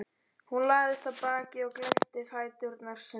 Hún lagðist á bakið og glennti fæturna sundur.